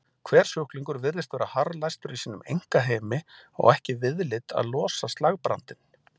Hver sjúklingur virtist vera harðlæstur í sínum einkaheimi og ekki viðlit að losa slagbrandinn.